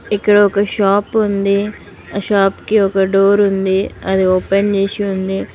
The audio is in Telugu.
ఇక్కడ ఒక షాప్ ఉంది ఆ షాప్ కి ఒక డోర్ ఉంది అది ఓపెన్ చేసి ఉంది.